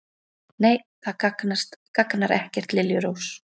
Nei, það gagnar ekkert, liljurós.